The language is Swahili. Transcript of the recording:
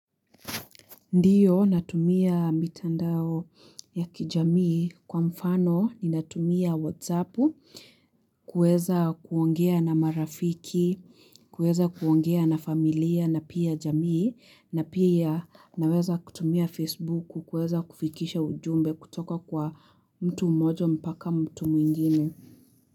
Ndiyo natumia mitandao ya kijamii kwa mfano ninatumia whatsapp kuweza kuongea na marafiki, kuweza kuongea na familia na pia jamii na pia naweza kutumia facebook kuweza kufikisha ujumbe kutoka kwa mtu moja mpaka mtu mwingine.